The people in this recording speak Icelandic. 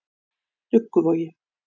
Dugguvogi